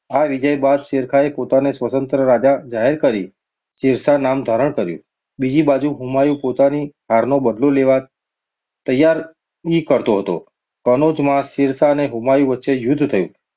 આ વિજય બાદ શેરખાઁએ પોતાને સ્વતંત્ર રાજા જાહેર કરી, શેરશાહ નામ ધારણ કર્યું. બીજી બાજુ હુમાયુ પોતાની હારનો બદલો લેવા તૈયાર રી કરતો હતો. કનોજમાં શેરશાહ અને હુમાયુ વચ્ચે યુદ્ધ થયું,